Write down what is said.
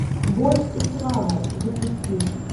боль и слава запусти